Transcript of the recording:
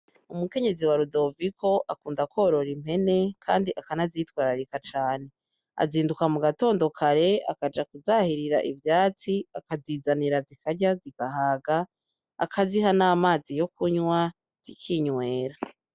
Umukenyezi wa Rudoviko akunda kworora impene kandi akanazitwararika cane azinduka mu gatondo kare akaja ku zahirira ivyatsi akazizanira zikarya zigahaga akaziha n'amazi yo kunwa zikinwera.